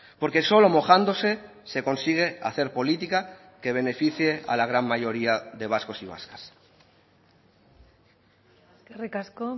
porque solo mojándose se consigue hacer política que beneficie a la gran mayoría de vascos y vascas eskerrik asko